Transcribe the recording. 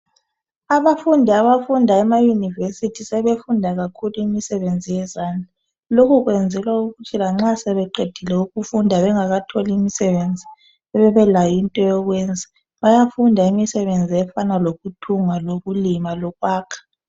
abafundi abafunda ema univesity sebefunda kakhulu imisebenzi yezandla lokhu kuyenzelwa ukuthi lanxa sebeqedile ukufunda bengakatholi imisebenzi bebelayo into yokuyenza ukulima lokuyakha